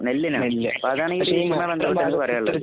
നെല്ലിനാണ്. Palakkad